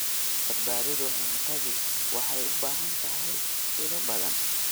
Badbaadada cuntadu waxay u baahan tahay ilo badan.